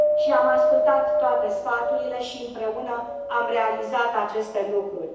Am ascultat toate sfaturile și, împreună, am realizat aceste lucruri.